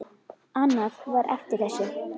Annað var eftir þessu.